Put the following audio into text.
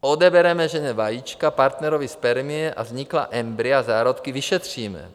Odebereme ženě vajíčka, partnerovi spermie a vzniklá embrya, zárodky, vyšetříme.